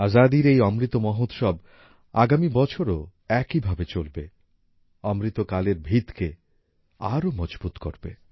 আজাদীর এই অমৃত মহোৎসব আগামী বছরও একইভাবে চলবে অমৃতকালের ভীতকে আরও মজবুত করবে